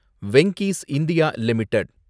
Venky's India limited